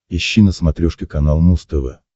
ищи на смотрешке канал муз тв